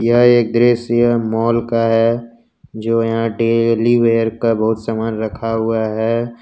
यह एक दृश्य यह मॉल का है जो यहां डेली वेयर का बहुत सामान रखा हुआ है।